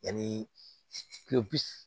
Yanni kulo